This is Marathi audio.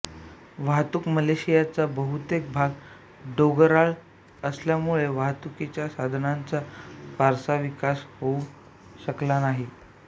वाहतूक मलेशियाचा बहुतेक भाग डोगराळ असल्यामुळे वाहतूकीच्या साधनाचा फारसा विकास होऊ शकला नाही